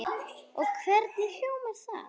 Og hvernig hljómar það?